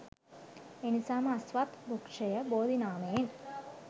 එනිසාම අස්වත්, වෘක්ෂය බෝධි නාමයෙන්